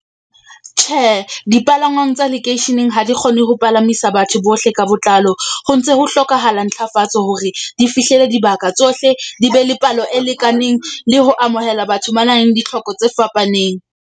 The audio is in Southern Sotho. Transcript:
Tjhe, dipalangwang tsa lekeisheneng ha di kgone ho palamisa batho bohle ka botlalo. Ho ntse ho hlokahala ntlafatso hore di fihlele dibaka tsohle. Di be le palo e lekaneng le ho amohela batho ba na leng ditlhoko tse fapaneng.